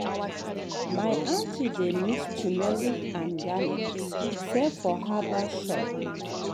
my aunty dey mix turmeric and garlic sell for herbal shop.